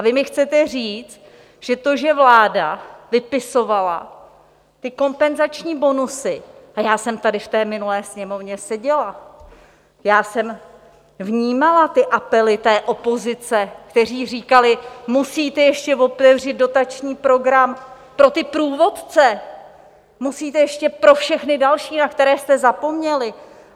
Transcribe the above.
A vy mi chcete říct, že to, že vláda vypisovala ty kompenzační bonusy - a já jsem tady v té minulé Sněmovně seděla, já jsem vnímala ty apely té opozice, kteří říkali: musíte ještě otevřít dotační program pro ty průvodce, musíte ještě pro všechny další, na které jste zapomněli.